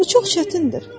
Bu çox çətindir.